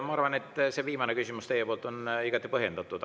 Ma arvan, et teie viimane küsimus on igati põhjendatud.